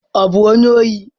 Ọ bụ onye ohi?